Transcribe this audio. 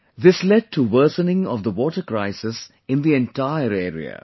This led to worsening of the water crisis in the entire area